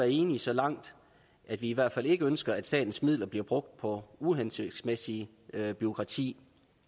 enige så langt at vi i hvert fald ikke ønsker at statens midler bliver brugt på uhensigtsmæssigt bureaukrati